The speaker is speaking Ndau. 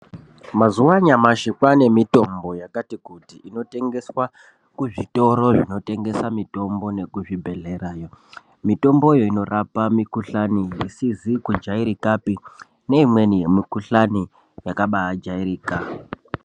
Mazuwa anyamashi kwane mitombo yakati kuti inotengeswa muzvitoro zvinotengesa mitombo nemuzvibhedhlera . Mitomboyo inorapa mikuhlani isizi kujairikapi neimweni yakajairika.